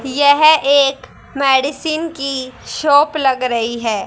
यह एक मेडिसिन की शॉप लग रही है।